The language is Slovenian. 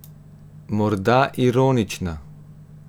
Morda ironična.